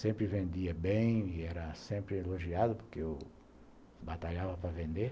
Sempre vendia bem e era sempre elogiado porque eu batalhava para vender.